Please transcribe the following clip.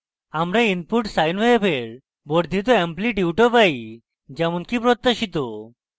আমরা input sine wave we বর্ধিত অ্যাম্লিটিউটও পাই যেমনকি অপেক্ষিত